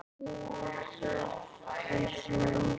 Þú þarft þess heldur ekki.